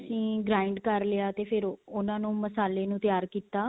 ਅਸੀਂ grained ਕਰ ਲਿਆ ਤੇ ਫ਼ੇਰ ਉਹਨਾ ਨੂੰ ਮਸਾਲੇ ਨੂੰ ਤਿਆਰ ਕੀਤਾ